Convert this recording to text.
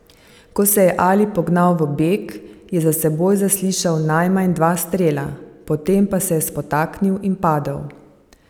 Ko se je Ali pognal v beg, je za seboj zaslišal najmanj dva strela, potem pa se je spotaknil in padel.